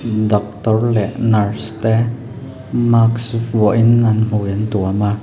doctor leh nurse te mask vuahin an hmui an tuam a.